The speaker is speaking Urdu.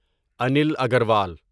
انیل اگروال